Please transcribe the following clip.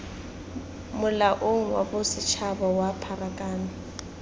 molaong wa bosetshaba wa pharakano